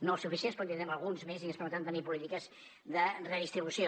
no els suficients però en tindrem alguns més i ens permetran tenir polítiques de redistribució